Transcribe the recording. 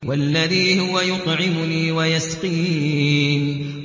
وَالَّذِي هُوَ يُطْعِمُنِي وَيَسْقِينِ